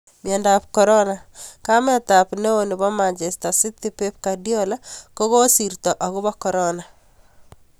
Miondo ab Corona: Kamet ab neo ab Manchester City Pep Guardiola kokisirto akobo Corona.